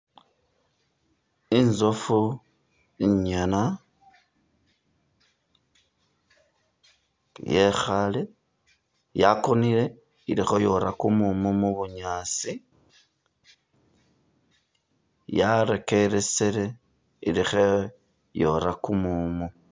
Inzoofu inyana ,yekhale yakonele iri khayoma kumumu mu bunyaasi, yarekeresele ili kheyora kumumu